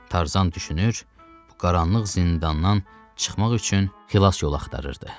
Tarzan düşünür, bu qaranlıq zindandan çıxmaq üçün xilas yolu axtarırdı.